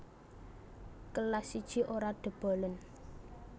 Kelas I Ora dobolen